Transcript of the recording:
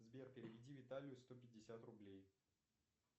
сбер переведи виталию сто пятьдесят рублей